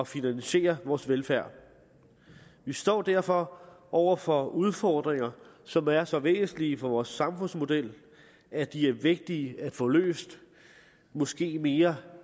finansiere vores velfærd vi står derfor over for udfordringer som er så væsentlige for vores samfundsmodel at de er vigtige at få løst måske mere